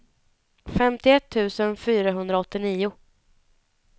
femtioett tusen fyrahundraåttionio